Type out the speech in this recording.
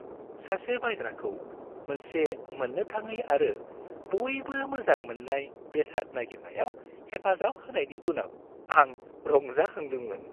सासे बायग्राखौ मोनसे मोन्नो थाङै आरो बयबो मोजां मोननाय बेसाद नागिरनायाव हेफाजाब होनायनि उनाव, आं रंजाखांदोंमोन।